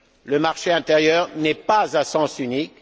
Le marché intérieur n'est pas à sens unique.